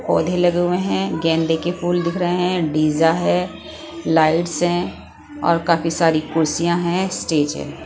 पौधे लगे हुए हैं गैंदे के फूल दिख रहे हैं डीजा है लाइट्स हैं और काफी सारी कुर्सियां हैं स्टेज है।